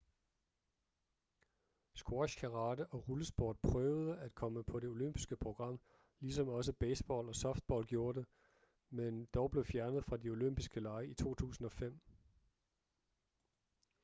squash karate og rullesport prøvede at komme på det olympiske program ligesom også baseball og softball gjorde det men dog blev fjernet fra de olympiske lege i 2005